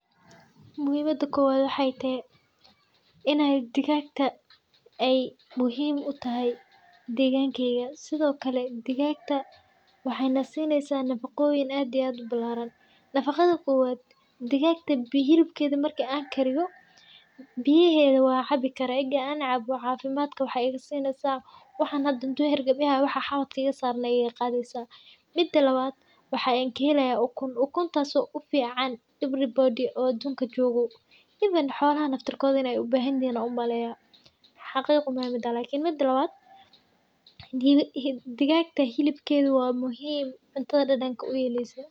Muhiim u tahay degaankeyga dhigaagta, waxayna siinaysaa nafacyo ballaaran. Hilibkeeda waa la kariyaa, biyaha waan cabbi karaa, caafimaad ayay ka qaadaysaa. Haddii hareer-gab i hayo, waxa xabadka iga saaran iga qaadaysaa. Waxaan ka helayaa ukun oo u fiican qof walba (everybody) oo adduunka jooga. Xoolaha inay u baahan yihiin umaleyn, xaqiiqo uma hayo. Hilibkuna waa muhiim, cuntada dhadhanka ayuu u yeelaa.